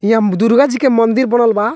इहाँ दुर्गा जी के मंदिर बनल बा।